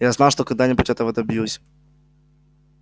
я знал что когда-нибудь этого добьюсь